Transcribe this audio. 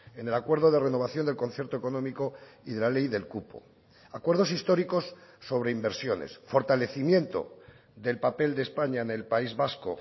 en el acuerdo de renovación del concierto económico y de la ley del cupo acuerdos históricos sobre inversiones fortalecimiento del papel de españa en el país vasco